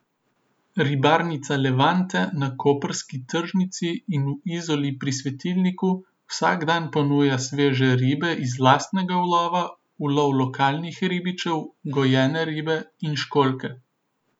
Ribarnica Levante na koprski tržnici in v Izoli pri svetilniku vsak dan ponuja sveže ribe iz lastnega ulova, ulov lokalnih ribičev, gojene ribe in školjke.